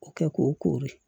O kɛ k'o koori